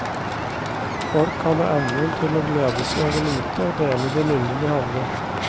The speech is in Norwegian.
Folk hadde evnen til å glede seg over lite og dele det lille de hadde.